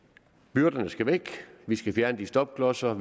byrderne skal væk vi skal fjerne de stopklodser